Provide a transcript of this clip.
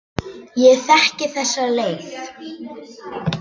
Ég þekki þessa leið.